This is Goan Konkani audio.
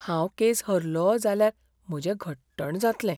हांव केस हरलों जाल्यार म्हजें घट्टण जातलें.